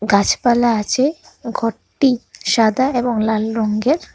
গাছপালা আছে ঘরটি সাদা এবং লাল রঙ্গের ।